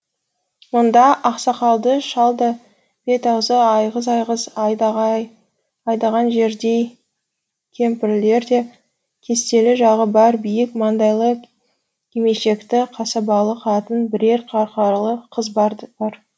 мұнда ақсақалды шал да бет аузы айғыз айғыз айдаған жердей кемпірлер де кестелі жағы бар биік маңдайлы кимешекті қасабалы қатын бірер қарқаралы қыз да бар